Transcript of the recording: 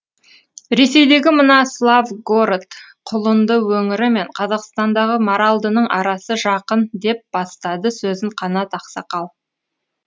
ресейдегі мына славгород құлынды өңірі мен қазақстандағы маралдының арасы жақын деп бастады сөзін қанат ақсақал